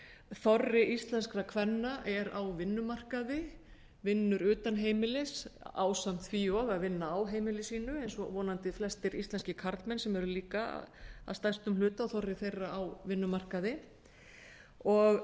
þorri íslenskra kvenna er á vinnumarkaði vinnur utan heimilis ásamt því og að vinna á heimili sínu eins og vonandi flestir íslenskir karlmenn sem eru líka að stærstum hluta þorri þeirra á vinnumarkaði og